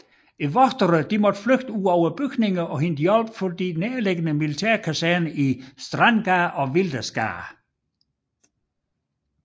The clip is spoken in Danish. Vogterne måtte flygte ud af bygningerne og hente hjælp fra de nærliggende militærkaserner i Strandgade og Wildersgade